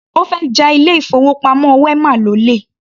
Ó fẹ́ ja ilé-ìfowópamọ́ wema lólè.